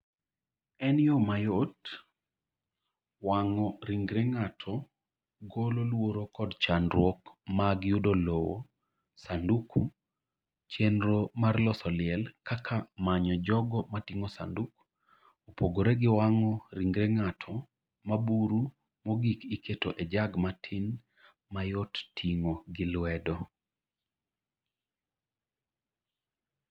En yo mayot: Wang'o ringre ng’ato golo luoro kod chandruok mag yudo lowo, sanduku, chenro mar loso liel, kaka manyo jogo ma ting’o sanduk, opogore gi wang'o ringre ng’ato ma buru mogik iketo e jag matin ma yot ting’o gi lwedo.